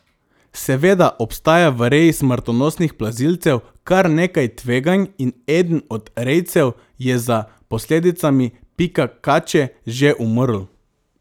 Seveda obstaja v reji smrtonosnih plazilcev kar nekaj tveganj in eden od rejcev je za posledicami pika kače že umrl.